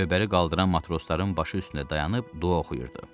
Lövbəri qaldıran matrosların başı üstündə dayanıb dua oxuyurdu.